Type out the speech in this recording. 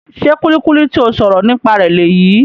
Ṣe kulikuli ti o sọrọ nípa rẹ leyii?